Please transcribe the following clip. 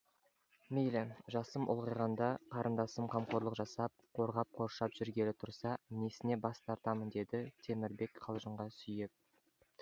мейлі жасым ұлғайғанда қарындасым қамқорлық жасап қорғап қоршап жүргелі тұрса несіне бас тартамын деді темірбек қалжыңға сүйеп